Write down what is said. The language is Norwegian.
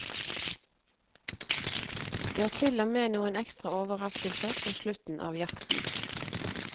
Det er til og med noen ekstra overraskelser på slutten av jakten.